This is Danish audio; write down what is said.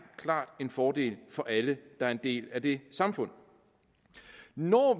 klart en fordel for alle der er en del af det samfund når